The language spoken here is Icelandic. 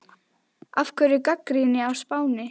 Af hverju gagnrýnin á Spáni?